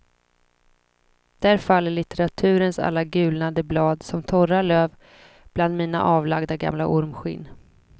Där faller litteraturens alla gulnade blad som torra löv bland mina avlagda gamla ormskinn.